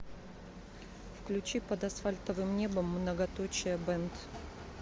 включи под асфальтовым небом многоточие бэнд